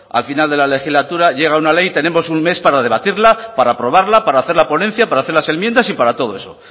al final de la legislatura llega una ley tenemos un mes para debatirla para aprobarla para hacer la ponencia para hacer las enmiendas y para todo eso